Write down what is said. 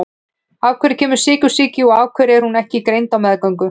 Af hverju kemur sykursýki og af hverju er hún ekki greind á meðgöngu?